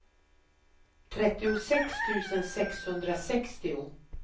trettiosex tusen sexhundrasextio